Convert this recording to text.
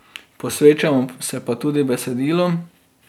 Posvečamo se pa tudi besedilom.